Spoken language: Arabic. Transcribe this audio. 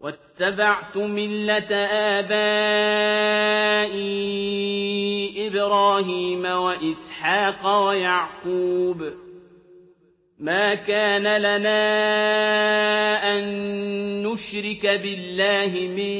وَاتَّبَعْتُ مِلَّةَ آبَائِي إِبْرَاهِيمَ وَإِسْحَاقَ وَيَعْقُوبَ ۚ مَا كَانَ لَنَا أَن نُّشْرِكَ بِاللَّهِ مِن